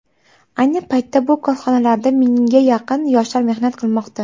Ayni paytda bu korxonalarda mingga yaqin yoshlar mehnat qilmoqda.